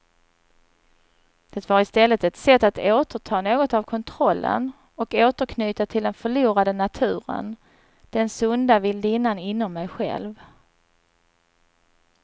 Det var istället ett sätt att återta något av kontrollen och återknyta till den förlorade naturen, den sunda vildinnan inom mig själv.